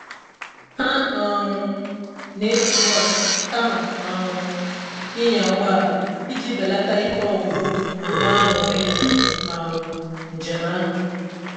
Ha um na-eji bọs kama um ịnya ụgbọ ala iji belata ike ọgwụgwụ ma nwee anụrị na um njem ahụ.